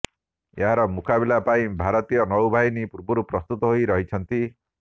ଏହାର ମୁକାବିଲା ପାଇଁ ଭାରତୀୟ ନୌବାହିନୀ ପୂର୍ବରୁ ପ୍ରସ୍ତୁତ ହୋଇ ରହିଛନ୍ତି